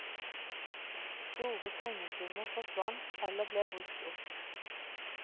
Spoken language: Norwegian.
Store pengesummer forsvant eller ble brukt opp.